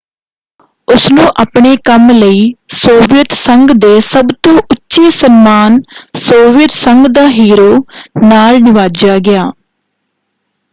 ਉਸਨੂੰ ਆਪਣੇ ਕੰਮ ਲਈ ਸੋਵੀਅਤ ਸੰਘ ਦੇ ਸਭ ਤੋਂ ਉੱਚੇ ਸਨਮਾਨ ਸੋਵੀਅਤ ਸੰਘ ਦਾ ਹੀਰੋ” ਨਾਲ ਨਿਵਾਜਿਆ ਗਿਆ।